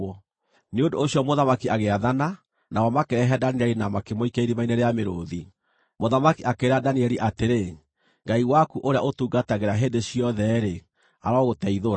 Nĩ ũndũ ũcio mũthamaki agĩathana, nao makĩrehe Danieli na makĩmũikia irima-inĩ rĩa mĩrũũthi. Mũthamaki akĩĩra Danieli atĩrĩ, “Ngai waku ũrĩa ũtungatagĩra hĩndĩ ciothe-rĩ, arogũteithũra!”